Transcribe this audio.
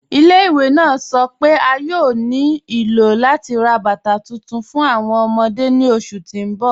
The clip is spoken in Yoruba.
Ilẹ̀-ìwé naa sọ́ pe a yòò ní ilò lati rá bátà tuntun fún awọn ọmọdé ni oṣù tí n bọ̀.